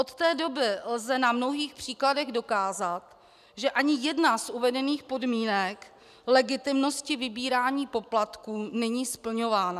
Od té doby lze na mnohých příkladech dokázat, že ani jedna z uvedených podmínek legitimnosti vybírání poplatků není splňována.